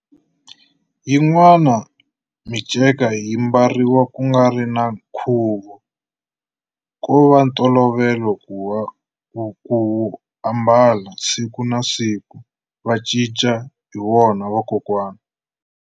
Yin'wani minceka yi mbariwa kungari na nkhuvo kova ntolovelo kuwu ambala siku na siku va cinca hi wona vakokwani.